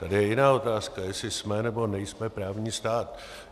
Tady je jiná otázka - jestli jsme, nebo nejsme právní stát.